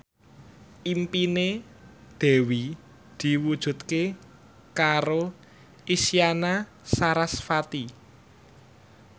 impine Dewi diwujudke karo Isyana Sarasvati